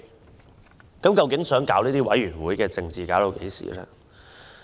政府究竟想玩弄委員會政治到何時？